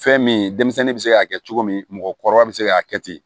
Fɛn min denmisɛnnin bɛ se k'a kɛ cogo min mɔgɔkɔrɔba bɛ se k'a kɛ ten